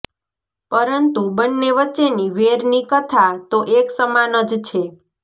પરંતુ બન્ને વચ્ચેની વેરની કથા તો એક સમાન જ છે